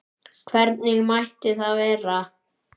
Hvernig mætti það vera?